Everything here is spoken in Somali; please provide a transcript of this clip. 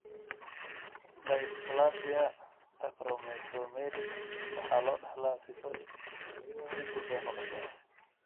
Dysplasia acromesomelic waxa loo dhaxlaa sifo dib u soo noqosho ah.